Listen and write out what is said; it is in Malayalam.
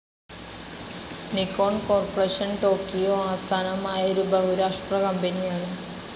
നിക്കോൺ കോർപ്പറേഷൻ ടോക്കിയോ ആസ്ഥാനമായ ഒരു ബഹുരാഷ്ട്ര കമ്പനിയാണ്.